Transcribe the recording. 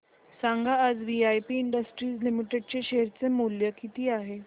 सांगा आज VIP industries limited चे शेअर चे मूल्य किती आहे